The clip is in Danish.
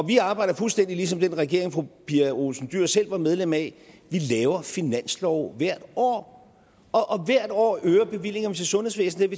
vi arbejder fuldstændig ligesom den regering fru pia olsen dyhr selv var medlem af vi laver finanslove hvert år og hvert år øger vi bevillingerne til sundhedsvæsenet